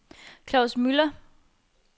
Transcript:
Claus Müller